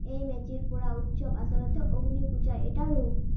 এই মেজি পোৰা উৎসৱ আচলতে অগ্নি পূজাৰ এটা ৰূপ।